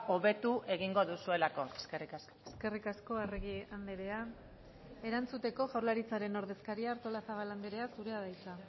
hobetu egingo duzuelako eskerrik asko eskerrik asko arregi andrea erantzuteko jaurlaritzaren ordezkaria artolazabal andrea zurea da hitza